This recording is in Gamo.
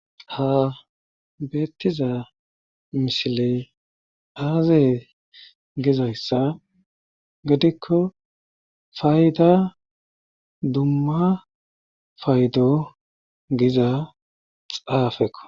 ha beettiza mishiley aaze gezayssa gedikko fayda dumma faydo giza xaafekko